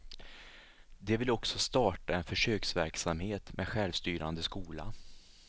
De vill också starta en försöksverksamhet med självstyrande skola.